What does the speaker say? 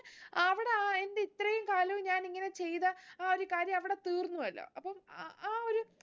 അവിടെ ആഹ് എന്റെ ഇത്രേം കാലും ഞാൻ ഇങ്ങനെ ചെയ്ത ആ ഒരു കാര്യം അവിടെ തീർന്നു അല്ലോ അപ്പം അഹ് ആ ഒരു